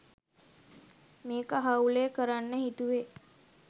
මේක හවුලේ කරන්න හිතුවේ